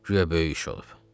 Güya böyük iş olub.